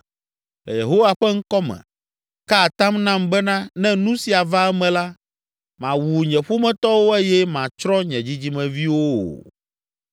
Le Yehowa ƒe ŋkɔ me, ka atam nam bena ne nu sia va eme la, màwu nye ƒometɔwo eye màtsrɔ̃ nye dzidzimeviwo o!”